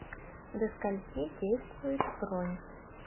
до скольки действует бронь